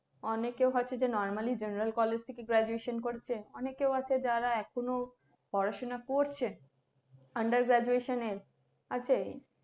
অনেকেও আছে যে normally general college থেকে graduation করছে অনেকে আছে যারা এখনও পড়াশোনা করছে under graduation এ আছে,